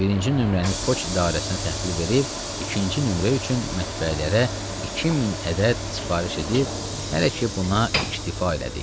Və birinci nömrəni poçt idarəsinə təhvil verib, ikinci nömrə üçün mətbəələrə 2000 ədəd sifariş edib, hələ ki buna ictifa elədik.